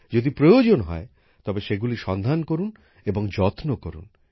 যদি প্রয়োজন হয় তবে সেগুলি সন্ধান করুন এবং যত্ন করুন